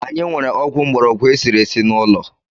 Anyị nwere ọgwụ mgborogwu e siri esi n’ụlọ